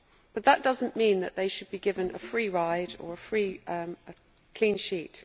But that does not mean that they should be given a free ride or a clean sheet.